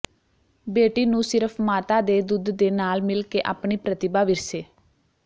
ਬੇਟੀ ਨੂੰ ਸਿਰਫ਼ ਮਾਤਾ ਦੇ ਦੁੱਧ ਦੇ ਨਾਲ ਮਿਲ ਕੇ ਆਪਣੀ ਪ੍ਰਤਿਭਾ ਵਿਰਸੇ